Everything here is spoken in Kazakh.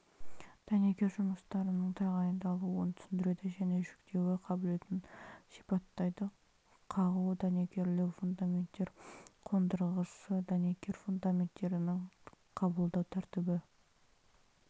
дәнекер жұмыстарының тағайындалуын түсіндіреді және жүктеуі қабілетін сипаттайды қағу дәнекерлеу фундаменттер қондырғысы дәнекер фундаменттерінің қабылдау тәртібі